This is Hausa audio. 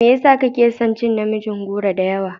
Me yasa kaci ka cin namijin goro da yawa?